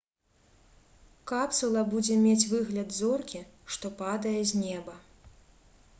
капсула будзе мець выгляд зоркі што падае з неба